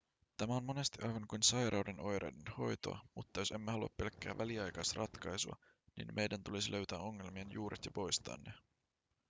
tämä on monesti aivan kuin sairauden oireiden hoitoa mutta jos emme halua pelkkää väliaikaisratkaisua niin meidän tulisi löytää ongelmien juuret ja poistaa ne